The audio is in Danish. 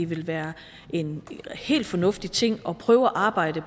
ville være en helt fornuftig ting at prøve at arbejde